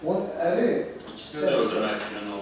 Onun əri ikisini də öldürmək fikrində olmayıb.